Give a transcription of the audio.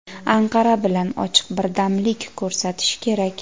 Anqara bilan ochiq birdamlik ko‘rsatishi kerak.